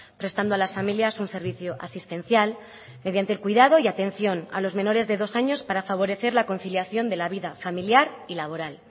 prestando a las familias un servicio asistencial mediante el cuidado y atención a los menores de dos años para favorecer la conciliación de la vida familiar y laboral